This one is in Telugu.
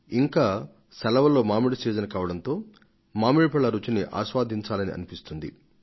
ఇది మామిడి పండ్ల కాలం కూడా కావడంతో ఈ ఫలాలను రుచి చూడాలని మనం తపిస్తాం